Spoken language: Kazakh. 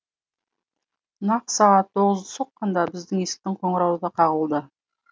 нақ сағат тоғызды соққанда біздің есіктің қоңырауы да қағылды